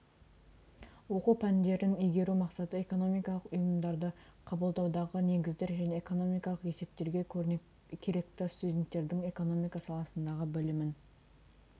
оқу пәнін игеру мақсаты экономикалық ұйғарымдарды қабылдаудағы негіздер және экономикалық есептерге керекті студенттердің экономика саласындағы білімін